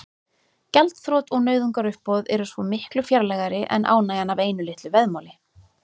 Gjaldþrot og nauðungaruppboð eru svo miklu fjarlægari en ánægjan af einu litlu veðmáli.